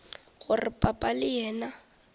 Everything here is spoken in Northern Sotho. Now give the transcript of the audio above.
gore papa le yena e